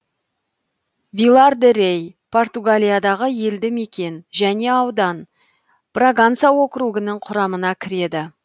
вилар де рей португалиядағы елді мекен және аудан браганса округінің құрамына кіреді